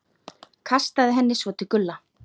Kastaði henni svo til Gulla.